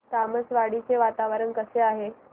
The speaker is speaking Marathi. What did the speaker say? तामसवाडी चे वातावरण कसे आहे